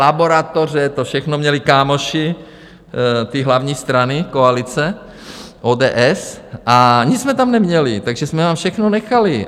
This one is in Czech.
Laboratoře, to všechno měli kámoši té hlavní strany, koalice, ODS, a nic jsme tam neměli, takže jsme vám všechno nechali.